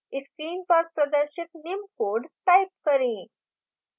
screen पर प्रदर्शित निम्न code type करें